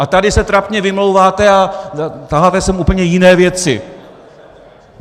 A tady se trapně vymlouváte a taháte sem úplně jiné věci.